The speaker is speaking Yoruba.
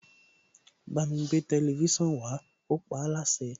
Bámi gbé tẹlifísàn wá, ó paáláṣẹ.